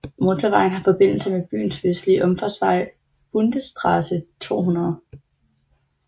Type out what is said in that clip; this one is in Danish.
Motorvejen har forbindelse med byens vestlige omfartsvej Bundesstraße 200